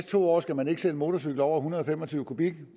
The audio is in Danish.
to år skal man ikke sælge motorcykler over en hundrede og fem og tyve kubik